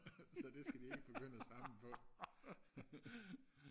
så det skal de ikke begynde og samle på